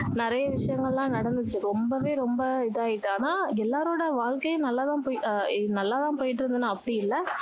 நிறைய விஷயங்கள் எல்லாம் நடந்துச்சு ரொம்பவே ரொம்ப இதாகிட்டு ஆனா எல்லாரோட வாழ்க்கையும் நல்லா தான் போய் ஆஹ் நல்லா தான் போயிட்டு இருந்ததுன்னு அப்படி இல்லை